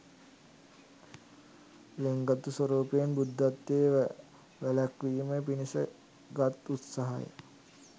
ළෙන්ගතු ස්වරූපයෙන් බුද්ධත්වය වැළැක්වීම පිණිස ගත් උත්සාහය